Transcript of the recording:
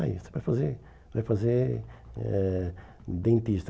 Está aí, você vai fazer vai fazer eh dentista.